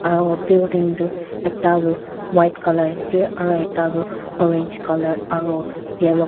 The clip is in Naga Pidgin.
aro building tu ekta tu white colour aro ekta toh orange colour aro yellow --